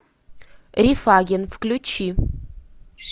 рифаген включи